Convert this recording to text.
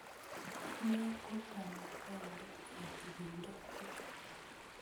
Ine ko Kamuktaindet ap ipindo tukul